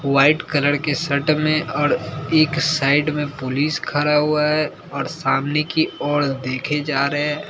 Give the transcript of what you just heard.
white colour के shirt में और एक साइड में पुलिस खड़ा हुआ है और सामने की ओर देखे जा रहे--